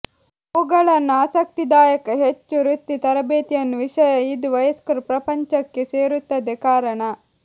ಅವುಗಳನ್ನು ಆಸಕ್ತಿದಾಯಕ ಹೆಚ್ಚು ವೃತ್ತಿ ತರಬೇತಿಯನ್ನು ವಿಷಯ ಇದು ವಯಸ್ಕರು ಪ್ರಪಂಚಕ್ಕೆ ಸೇರುತ್ತದೆ ಕಾರಣ